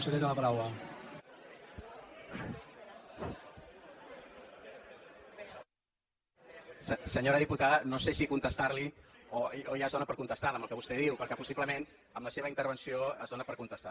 senyora diputada no sé si contestar li o ja es dóna per contestada amb el que vostè diu perquè possiblement amb la seva intervenció es dóna per contestada